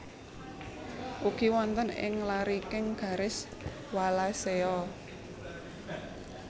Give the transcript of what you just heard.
Ugi wonten ing lariking garis Wallacea